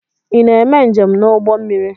Ị na-eme njem n'ụgbọ mmiri?